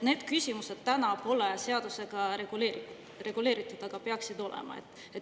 Need küsimused täna pole seadusega reguleeritud, aga peaksid olema.